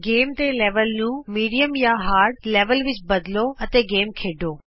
game ਦੇ level ਨੂੰ ਮਧਿਅਮ ਜਾਂ ਸੱਖਤ ਲੈਵਲ ਵਿਚ ਤਬਦੀਲ ਕਰੋ ਅਤੇ ਗੇਮ ਖੇਡੋ